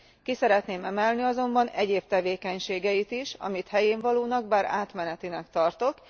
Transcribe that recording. Ki szeretném emelni azonban egyéb tevékenységeit is, amelyeket helyénvalónak, bár átmenetinek tartok.